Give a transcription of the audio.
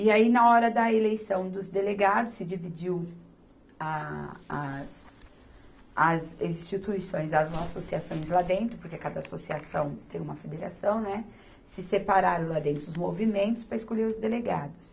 E aí, na hora da eleição dos delegados, se dividiu a, as, as instituições, as associações lá dentro, porque cada associação tem uma federação, né, se separaram lá dentro os movimentos para escolher os delegados.